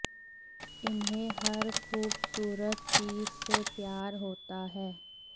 इन्हें हर खूबसूरत चीज से प्यार होता है